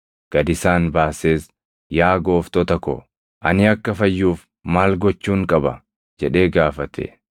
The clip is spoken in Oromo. gad isaan baasees, “Yaa Gooftota ko, ani akka fayyuuf maal gochuun qaba?” jedhee gaafate.